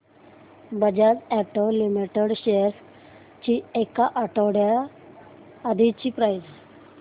Bajaj auto limited shares ची एक आठवड्या आधीची प्राइस